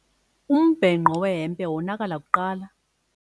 Umbhenqo wehempe wonakala kuqala.